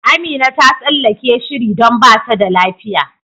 Amina ta tsallake shiri don bata da lafiya.